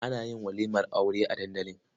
Ana yin walimar Aure a dandali.